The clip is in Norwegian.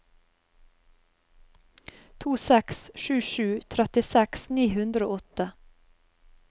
to seks sju sju trettiseks ni hundre og åtte